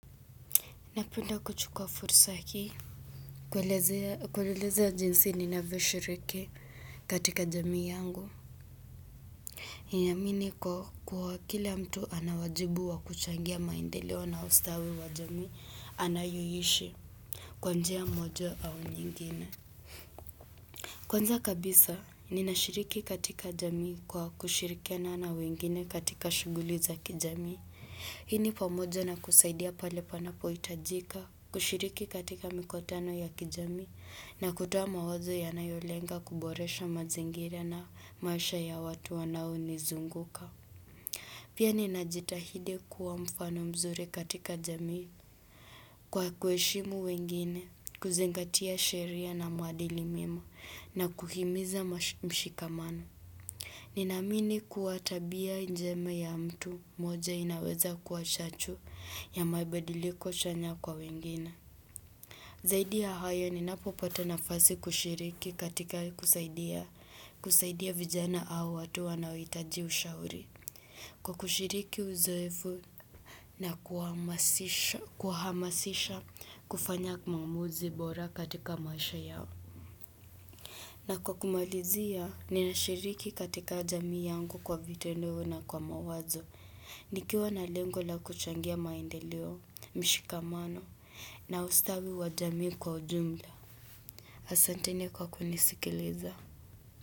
Napenda kuchukuwa fursa hii. Kuelezea jinsi ninavyo shiriki katika jamii yangu. Na iamini kwa kuwa kila mtu anawajibu wa kuchangia maendeleo na ustawi wa jamii anayo ishi kwa njia moja au nyingine. Kwanza kabisa ninashiriki katika jamii kwa kushirikiana na wengine katika shughuli za kijamii. Hii ni pamojo na kusaidia pale panapo itajika, kushiriki katika mikutano ya kijamii na kutoa mawazo yanayolenga kuboresha mazingira na maisha ya watu wanao nizunguka. Pia ninajitahidi kuwa mfano mzuri katika jamii kwa kuheshimu wengine, kuzingatia sheria na maadili mema na kuhimiza mshikamano. Ninaamini kuwa tabia njema ya mtu mmoja inaweza kuwa shachu ya mabadiliko chanya kwa wengine. Zaidi ya hayo ninapo pata nafasi kushiriki katika kusaidia vijana au watu wanaohitaji ushauri. Kwa kushiriki uzoefu na kuhamasisha kufanya maamuzi bora katika maisha yao. Na kwa kumalizia, ninashiriki katika jamii yangu kwa vitendo na kwa mawazo. Nikiwa na lengo la kuchangia maendeleo leo, mshikamano, na ustawi wa jamii kwa ujumla. Asanteni kwa kunisikiliza.